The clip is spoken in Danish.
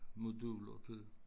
Moduler til